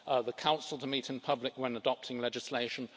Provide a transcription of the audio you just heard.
the Council to meet in public when adopting legislation